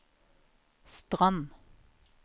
Strand